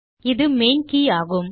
இது மெயின் கே யாகும்